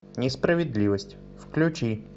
несправедливость включи